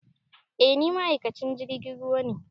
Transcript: Eh ni ma'aikacin jirgin ruwa ne